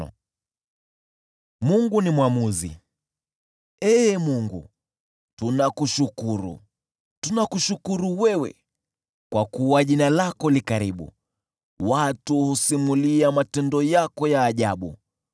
Ee Mungu, tunakushukuru, tunakushukuru wewe, kwa kuwa jina lako li karibu; watu husimulia matendo yako ya ajabu.